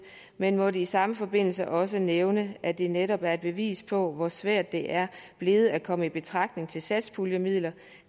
men må i samme forbindelse også nævne at det netop er et bevis på hvor svært det er blevet at komme i betragtning til satspuljemidler